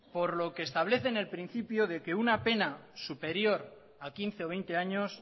por lo que establece en el principio de que una pena superior a quince o veinte años